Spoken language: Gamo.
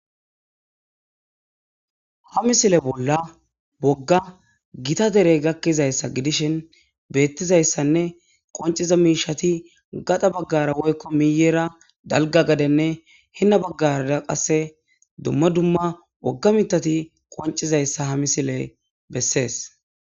Ha misile bolla woga gita derey gakizaysa gidishin betizaysanne qoniza mishati gada bagaranne woyko miyera dalga gadene hen bagara qase dumma dumma woga mitati qoncizaysa ha misileze beses